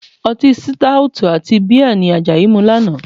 Ọtí sítáótù àti bíà ni Àjàyí mu lánàá